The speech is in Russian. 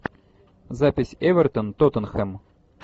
запись эвертон тоттенхэм